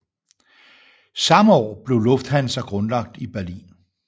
Samme år blev Lufthansa grundlagt i Berlin